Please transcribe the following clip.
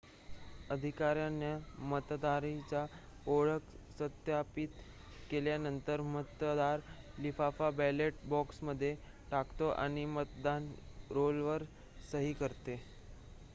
अधिकाऱ्यांनी मतदाराची ओळख सत्यापित केल्यानंतर मतदार लिफाफा बॅलेट बॉक्समध्ये टाकतो आणि मतदान रोलवर सही करतो